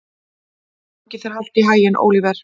Gangi þér allt í haginn, Óliver.